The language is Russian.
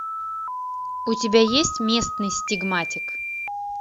у тебя есть местный стигматик